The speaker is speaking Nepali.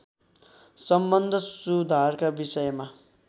सम्बन्ध सुधारका विषयमा